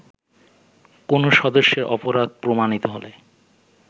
কোন সদস্যের অপরাধ প্রমাণিত হলে